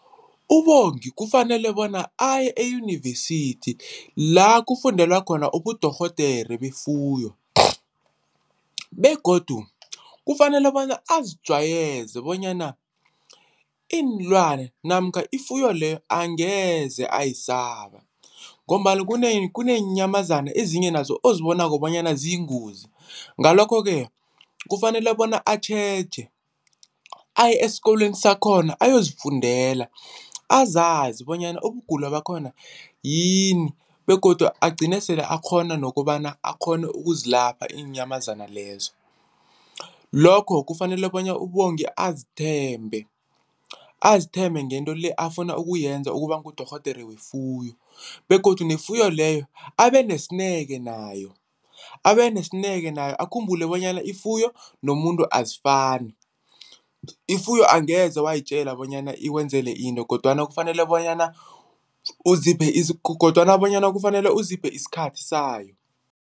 UBongi kufanele bona aye eyunivesithi la kufundelwa khona ubudorhodere befuyo begodu kufanele bona azijwayeze bonyana iinlwana namkha ifuyo leyo angeze ayisaba ngombana kuneenyamazana ezinye nazo ozibonako bonyana ziyingozi, ngalokho-ke kufanele bona atjheje aye eskolweni sakhona ayozifundela azazi bonyana ubugulo bakhona yini begodu agcine sele akghona nokobana akghone ukuzilapha iinyamazana lezo. Lokho kufanele bona uBongi azithembe, azithembe ngento le afuna ukuyenza ukuba ngudorhodere wefuyo begodu nefuyo leyo abenesineke nayo, abenesineke nayo, akhumbule bonyana ifuyo nomuntu azifani, ifuyo angeze wayitjela bonyana ikwenzele into kodwana kufanele bonyana uziphe kodwana bonyana kufanele uziphe isikhathi sayo.